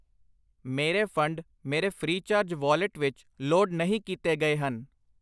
ਮੇਰੇ ਫੰਡ ਮੇਰੇ FreeCharge wallet ਵਿੱਚ ਲੋਡ ਨਹੀਂ ਕੀਤੇ ਗਏ ਹਨ।